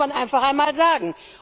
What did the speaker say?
Das muss man einfach einmal sagen.